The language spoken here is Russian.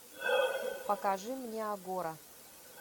покажи мне агора